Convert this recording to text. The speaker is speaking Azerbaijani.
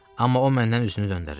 Amma o məndən üzünü döndərir.